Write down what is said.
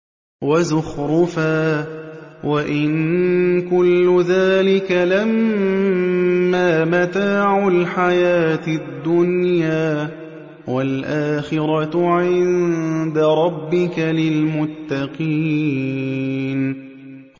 وَزُخْرُفًا ۚ وَإِن كُلُّ ذَٰلِكَ لَمَّا مَتَاعُ الْحَيَاةِ الدُّنْيَا ۚ وَالْآخِرَةُ عِندَ رَبِّكَ لِلْمُتَّقِينَ